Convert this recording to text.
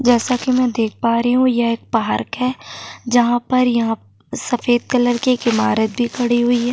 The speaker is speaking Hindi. जैसा की मैं देख पा रही हूँ ये एक पार्क है जहाँ पर यह सफ़ेद कलर की एक इमारत भी खड़ी हुई है।